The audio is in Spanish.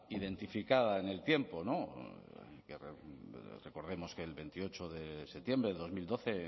identificada en el tiempo no recordemos que el veintiocho de septiembre del dos mil doce